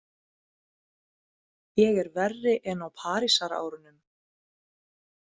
Ég er verri en á Parísarárunum.